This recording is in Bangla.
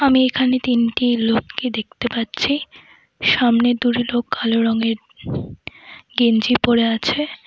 আমি এখানে তিনটি লোককে দেখতে পাচ্ছি সামনে দূরে লোক কালো রঙের গেঞ্জি পরে আছে।